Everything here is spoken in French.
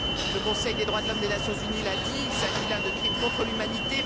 Le Conseil des droits de l'homme des Nations unies l'a dit, il s'agit là de crimes contre l'humanité.